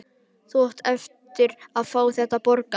Þú átt eftir að fá þetta borgað!